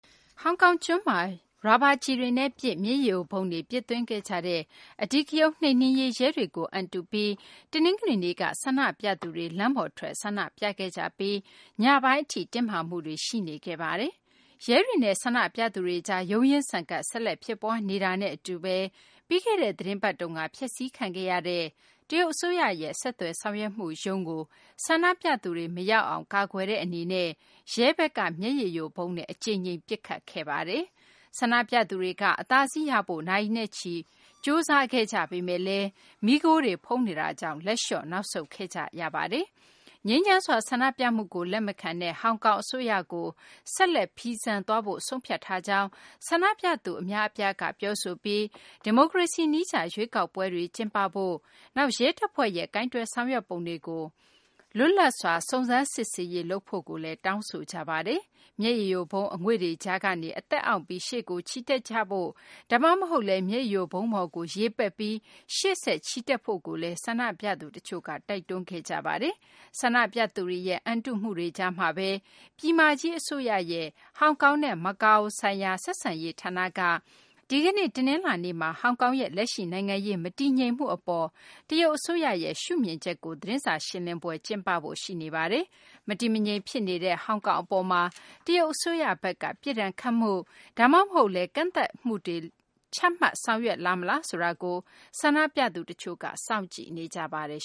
ဟောင်ကောင်ကျွန်းမှာ ရာဘာကျည်တွေနဲ့ပစ်၊ မျက်ရည်ယိုဗုံးတွေ ပစ်သွင်းခဲ့ကြတဲ့ အဓိကရုဏ်း နှိမ်နင်းရေး ရဲတွေကို အန်တုပြီး တနင်္ဂနွေနေ့က ဆန္ဒပြသူတွေ လမ်းပေါ်ထွက် ဆန္ဒပြခဲ့ကြပြီး ညပိုင်းထိ တင်းမာမှုတွေ ရှိနေခဲ့ပါတယ်။ ရဲတွေနဲ့ ဆန္ဒပြသူတွေကြား ရုန်းရင်းဆန်ခတ် ဆက်လက်ဖြစ်ပွား နေတာနဲ့ အတူဘဲ ပြီးခဲ့တဲ့ သတင်းပတ်တုန်းက ဖျက်ဆီးခံရတဲ့ တရုတ် အစိုးရရဲ့ ဆက်သွယ်ဆောင်ရွက်မှုရုံးကို ဆန္ဒပြသူတွေ မရောက်အောင် ကာကွယ်တဲ့ အနေနဲ့ ရဲဘက်က မျက်ရည်ယိုဗုံးနဲ့ အကြိမ်ကြိမ် အသုံးပြုခဲ့ပါတယ်။ ဆန္ဒပြသူတွေက အသာစီးရဖို့ နာရီနဲ့ချီပြီး ကြိုးစားခဲ့ကြပေမယ့်လည်း မီးခိုးတွေ ဖုံးနေတာကြောင့် လက်လျှော့ နောက်ဆုတ်ခဲ့ကြ ရပါတယ်။ ငြိမ်းချမ်းစွာ ဆန္ဒပြမှုကို လက်မခံတဲ့ ဟောင်ကောင် အစိုးရကို ဆက်လက် ဖီဆန်သွားဖို့ ဆုံးဖြတ်ထားကြောင်း ဆန္ဒပြသူ အများအပြားက ပြောဆိုပြီး ဒီမိုကရေစီ နည်းကျ ရွေးကောက်ပွဲတွေ ကျင်းပဖို့၊ နောက် ရဲတပ်ဖွဲ့ရဲ့ ကိုင်တွယ်ဆောင်ရွက်ပုံတွေကို လွတ်လပ်စွာ စုံစမ်းစစ်ဆေးရေး လုပ်ဖို့လည်း တောင်းဆိုကြပါတယ်။ မျက်ရည်ယိုဗုံး အငွေ့တွေကြားကနေ အသက်အောင့်ပြီး ရှေ့တိုးချီတက်ကြဖို့၊ ဒါမှမဟုတ်လည်း မျက်ရည်ယိုဗုံးပေါ်ကို ရေပက်ပြီး ရှေ့ဆက် ချီတက်ကြဖို့လည်း ဆန္ဒပြသူ တချို့က တိုက်တွန်းခဲ့ကြပါတယ်။ ဆန္ဒပြသူတွေရဲ့ အန်တုမှုတွေကြားမှာဘဲ ပြည်မကြီး အစိုးရရဲ့ ဟောင်ကောင်နဲ့ မကာအိုဆိုင်ရာ ဆက်ဆံရေး ဌာနက ဒီကနေ့ တနလာၤနေ့မှာ ဟောင်ကောင်ရဲ့ လက်ရှိ နိုင်ငံရေး မတည်ငြိမ်မှု အပေါ် တရုတ်အစိုးရရဲ့ ရှုမြင်ချက်ကို သတင်းစာ ရှင်းလင်းပွဲ ကျင်းပဖို့ ရှိနေပါတယ်။ မတည်မငြိမ် ဖြစ်နေတဲ့ ဟောင်ကောင် အပေါ်မှာ တရုတ် အစိုးရဘက်က ပြစ်ဒဏ်ခတ်မှု ဒါမှမဟုတ်လည်း ကန့်သတ်မှုတွေ ချမှတ်ဆောင်ရွက်လာမလားဆိုတာကို ဆန္ဒပြသူ တချို့က စောင့်ကြည့်နေကြပါတယ်